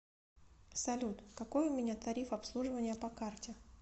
салют какой у меня тариф обслуживания по карте